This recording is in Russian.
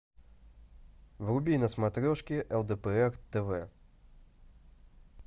вруби на смотрешке лдпр тв